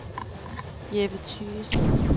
Jeppe Thygesen